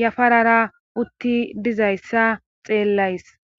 yafarara utti dizayssa xeellays